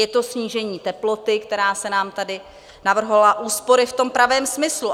Je to snížení teploty, která se nám tady navrhovala, úspory v tom pravém smyslu.